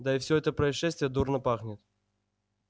да и всё это происшествие дурно пахнет